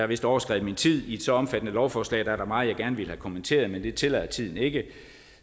vist overskredet min tid i et så omfattende lovforslag er der meget jeg gerne ville have kommenteret men det tillader tiden ikke